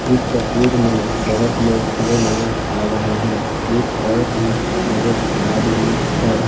इस तस्वीर में बहोत लोग खड़े नजर आ रहे हैं एक औरत भी नजर आ रही है।